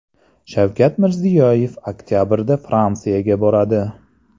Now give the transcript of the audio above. Shavkat Mirziyoyev oktabrda Fransiyaga boradi.